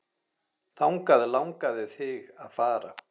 Þangað langaði þig að fara.